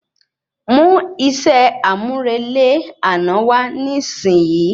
Mú iṣẹ àmúrelé àná wa nisin yi